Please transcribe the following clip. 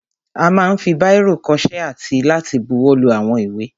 A ma ń fi báìrò kọṣẹ́ àti láti buwọ́lu àwọn ìwé.